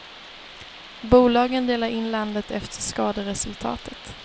Bolagen delar in landet efter skaderesultatet.